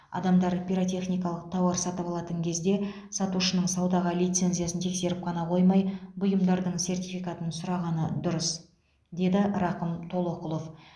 адамдар пиротехникалық тауар сатып алатын кезде сатушының саудаға лицензиясын тексеріп қана қоймай бұйымдардың сертификатын сұрағаны дұрыс деді рақым толоқұлов